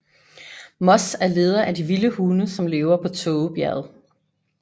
Moss er leder af de vilde hunde som lever på Tågebjerget